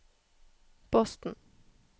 Boston